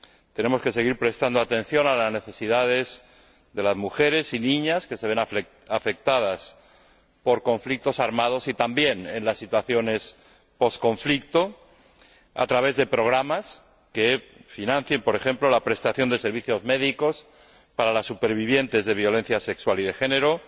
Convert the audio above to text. Tenemos que seguir prestando atención a las necesidades de las mujeres y niñas que se ven afectadas por conflictos armados y también en las situaciones tras los conflictos, a través de programas que financien, por ejemplo, la prestación de servicios médicos para las supervivientes de violencia sexual y de género,